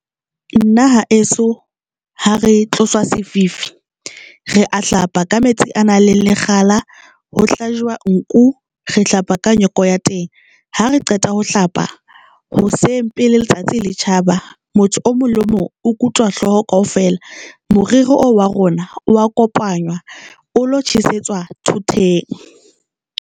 Nna haeso ha re tloswa sefifi, re a hlapa ka metsi a nang le lekgala, ho hlajwa nku, re hlapa ka nyoko ya teng ha re qeta ho hlapa hoseng pele letsatsi le tjhaba, motho o mong le o mong o kutwa hloho kaofela, moriri oo wa rona wa kopanywa o lo tjhesetswa thoteng.